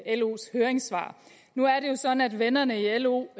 los høringssvar nu er det jo sådan at vennerne i lo